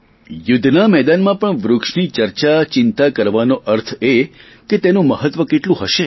ચુધ્ધના મેદાનમાં પણ વૃક્ષની ચર્ચાચિંતા કરવાનો અર્થ એ કે તેનું મહત્વ કેટલું હશે